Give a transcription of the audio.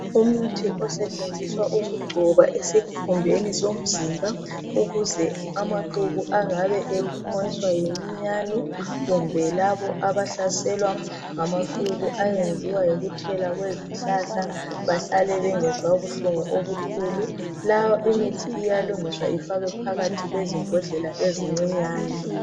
Umuthi osetshenziswa ukugcoba esikhumbeni somzimba ,ukuze amaqubu angabe ephunyiswa yiminyane kumbe labo abahlaselwa ngamaqubu ayenziwa yikuthela kwezihlahla bahlale bengezwa buhlungu. Lawa imithi iyalungiswa ifakwe phakathi kwezimbodlela ezincinyane.